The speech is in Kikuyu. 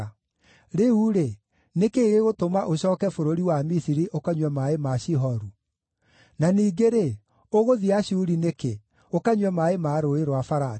Rĩu-rĩ, nĩ kĩĩ gĩgũtũma ũcooke bũrũri wa Misiri ũkanyue maaĩ ma Shihoru? Na ningĩ-rĩ, ũgũthiĩ Ashuri nĩkĩ, ũkanyue maaĩ ma Rũũĩ rwa Farati?